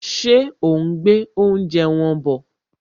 Ṣé òún gbé oúnjẹ wọn bọ̀?